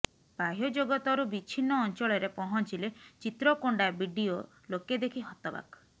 ବାହ୍ୟଜଗତରୁ ବିଛିନ୍ନ ଅଞ୍ଚଳରେ ପହଞ୍ଚିଲେ ଚିତ୍ରକୋଣ୍ଡା ବିଡିଓ ଲୋକେ ଦେଖି ହତବାକ୍